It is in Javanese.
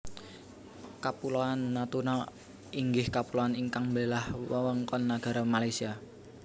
Kapuloan Natuna inggih kapuloan ingkang mbelah wewengkon nagara Malaysia